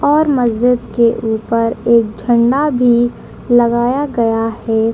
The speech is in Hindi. और मस्ज़िद के ऊपर एक झंडा भी लगाया गया है।